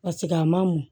Paseke a ma mɔ